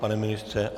Pane ministře?